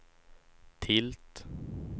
tilt